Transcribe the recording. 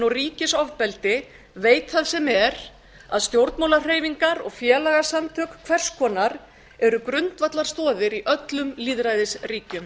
og ríkisofbeldi veit það sem er að stjórnmálahreyfingar og félagasamtök hvers konar eru grundvallarstoðir í öllum lýðræðisríkjum